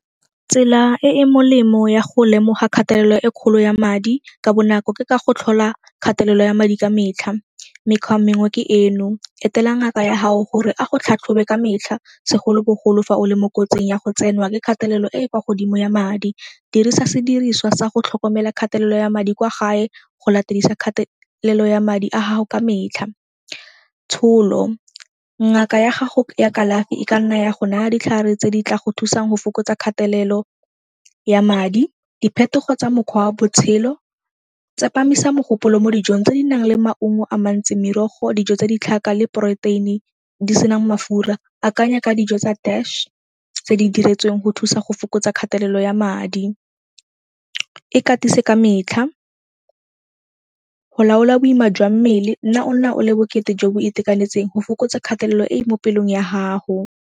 Tsela e e molemo ya go lemoga kgatelelo e kgolo ya madi ka bonako ke ka go tlhola kgatelelo ya madi ka metlha. Mekgwa mengwe ke eno, etela ngaka ya gao gore a go tlhatlhobe ka metlha segolobogolo fa o le mo kotsing ya go tsenwa ke kgatelelo e e kwa godimo ya madi. Dirisa sediriswa sa go tlhokomela kgatelelo ya madi kwa gae go latedisa kgatelelo ya madi a gago ka metlha. Tsholo, ngaka ya gago ya kalafi e ka nna ya go naya ditlhare tse di tla go thusang go fokotsa kgatelelo ya madi. Diphetogo tsa mokgwa wa botshelo, tsepamisa mogopolo mo dijong tse di nang le maungo a mantsi, merogo, dijo tsa ditlhaka le protein-e di senang mafura. Akanya ka dijo tsa tse di diretsweng go thusa go fokotsa kgatelelo ya madi. Ikatise ka metlha, go laola boima jwa mmele nna ona o le bokete jo bo itekanetseng go fokotsa kgatelelo e mo pelong ya gago.